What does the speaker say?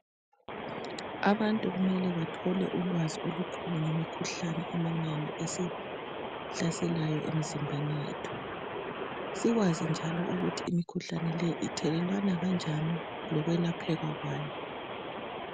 Abantu kumele bathole ulwazi olukhulu ngemikhuhlane eminengi esihlaselayo emizimbeni yethu sikwazi njalo ukuthi imikhuhlane le ithelelwana kanjani lokwelapheka kwayo.